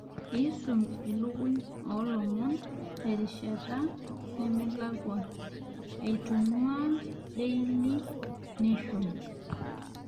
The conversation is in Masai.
aisum ilukuny oolomon terishata nemelakua aitung'uaa deili neshon